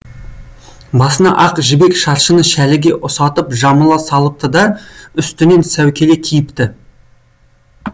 басына ақ жібек шаршыны шәліге ұсатып жамыла салыпты да үстінен сәукеле киіпті